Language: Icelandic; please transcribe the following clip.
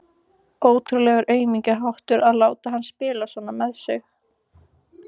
Ótrúlegur aumingjaháttur að láta hana spila svona með sig.